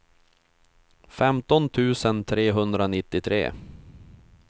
femton tusen trehundranittiotre